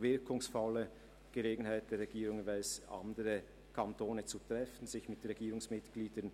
wirkungsvolle Gelegenheit für die Regierung für Treffen in anderen Kantonen und den Austausch mit Regierungsmitgliedern.